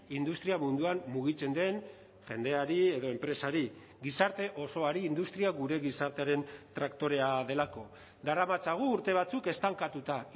industria munduan mugitzen den jendeari edo enpresari gizarte osoari industria gure gizartearen traktorea delako daramatzagu urte batzuk estankatuta